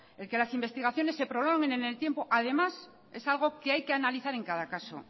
que el que las investigaciones se prolonguen en el tiempo además es algo que hay que analizar en cada caso